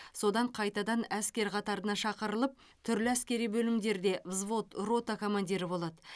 содан қайтадан әскер қатарына шақырылып түрлі әскери бөлімдерде взвод рота командирі болады